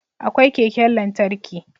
Akwai keken lantarki